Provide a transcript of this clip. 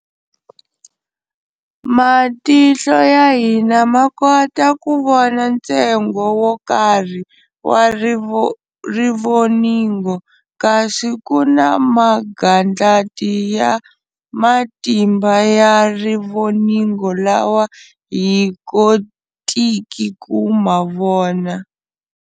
Matihlo ya hina makota kuvona ntsengo wokarhi wa rivoningo, kasi kuna magandlati ya matimba ya rivoningo lawa hi kotiki ku mavona.